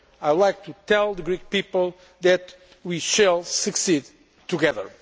I would like to tell the Greek people that we shall succeed together.